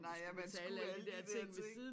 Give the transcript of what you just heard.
Nej at man skulle alle de dér ting